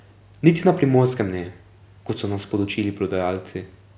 Niti na Primorskem ne, kot so nas podučili prodajalci.